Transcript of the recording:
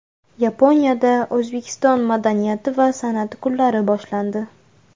Yaponiyada O‘zbekiston madaniyati va san’ati kunlari boshlandi.